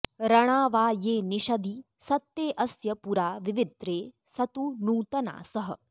रणा वा ये निषदि सत्ते अस्य पुरा विविद्रे सदु नूतनासः